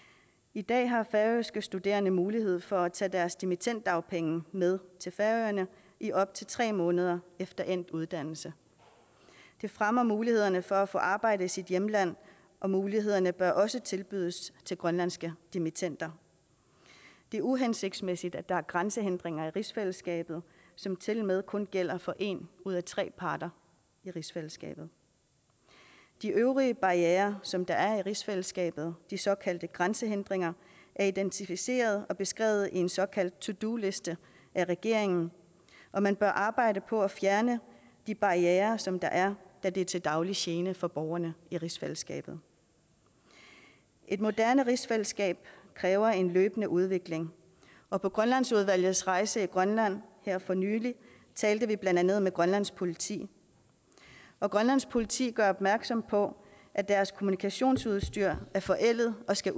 i dag har færøske studerende mulighed for at tage deres dimittenddagpenge med til færøerne i op til tre måneder efter endt uddannelse det fremmer mulighederne for at få arbejde i sit hjemland og mulighederne bør også tilbydes til grønlandske dimittender det er uhensigtsmæssigt at der er grænsehindringer i rigsfællesskabet som tilmed kun gælder for en ud af tre parter i rigsfællesskabet de øvrige barrierer som der er i rigsfællesskabet de såkaldte grænsehindringer er identificeret og beskrevet i en såkaldt to do liste af regeringen og man bør arbejde på at fjerne de barrierer som der er da de er til daglig gene for borgerne i rigsfællesskabet et moderne rigsfællesskab kræver en løbende udvikling og på grønlandsudvalgets rejse i grønland her for nylig talte vi blandt andet med grønlands politi og grønlands politi gør opmærksom på at deres kommunikationsudstyr er forældet og skal